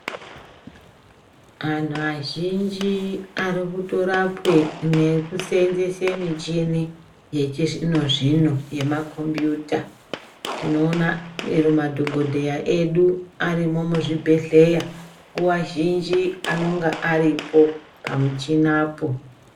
Vanhu vazhinji varikutorapwe nekuseenzese mishini yechizvino zvino yemakombuyuta, tinoona chero madhokodheya edu arimo muzvibhedhleya nguva zhinji anenge aripo pamushina po.